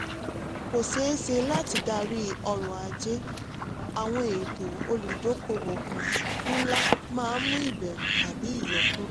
kò ṣeé ṣe láti darí ọ̀rọ̀-ajé: àwọn ètò olùdókòwò um ńlá máa mú ìbẹ̀rù tàbí ìyọkúrò.